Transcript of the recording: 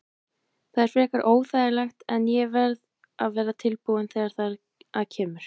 Það er frekar óþægilegt en ég verð að vera tilbúinn þegar þar að kemur.